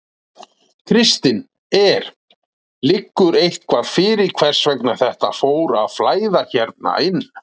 Kristinn: Er, liggur eitthvað fyrir hvers vegna þetta fór að flæða hérna inn?